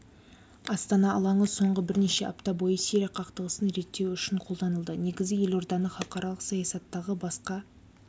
астана алаңы соңғы бірнеше апта бойы сирия қақтығысын реттеу үшін қолданылды негізі елорданы халықаралық саясаттағы басқа